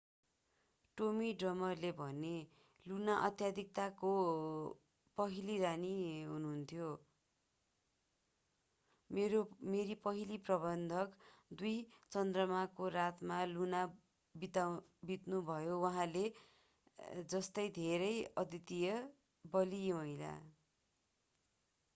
Tommy ड्रिमरले भने Luna अत्यधिकताको पहिली रानी हुनुहुन्थ्यो मेरी पहिली प्रबन्धक दुई चन्द्रमाको रातमा लुना बित्नुभयो उहाँ जस्तै धेरै अद्वितीय बलियी महिला